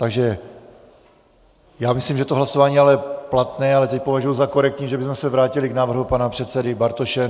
Takže já myslím, že to hlasování je platné, ale teď považuji za korektní, že bychom se vrátili k návrhu pana předsedy Bartoše.